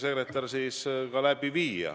Te lihtsalt mõistsite mind valesti.